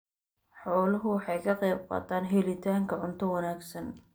Xooluhu waxay ka qaybqaataan helitaanka cunto wanaagsan.